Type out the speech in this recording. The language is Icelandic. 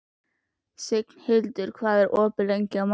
Signhildur, hvað er opið lengi á mánudaginn?